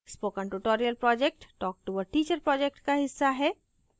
spoken tutorial project talktoa teacher project का हिस्सा है